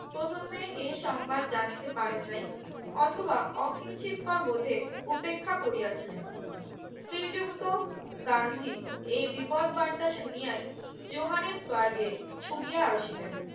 প্রথমে এই সংবাদ জানিতে পারেন নাই অথবা অকিঞ্চিত কর বোধে উপেক্ষা করিয়া ছিলেন শ্রী যুক্ত গান্ধী এই বিপদ বার্তা শুনিয়াই জোহানেজ বারগের ছুটিয়া আসিলেন